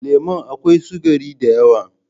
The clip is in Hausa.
Lemon a kawai sugari da yawa?